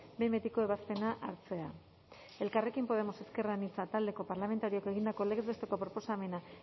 behin betiko ebazpena hartzea elkarrekin podemos iu talde parlamentarioak egindako legez besteko proposamena